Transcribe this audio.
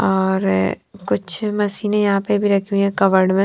और कुछ मशीनें यहां पर भी रखी हुई है कवड़ में --